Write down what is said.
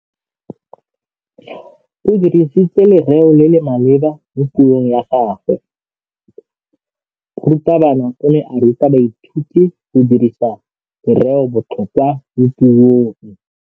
O dirisitse lerêo le le maleba mo puông ya gagwe. Morutabana o ne a ruta baithuti go dirisa lêrêôbotlhôkwa mo puong.